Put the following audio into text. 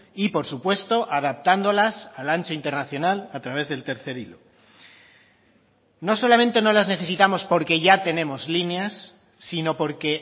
y por supuesto adaptándolas al ancho internacional a través del tercer hilo no solamente no las necesitamos porque ya tenemos líneas sino porque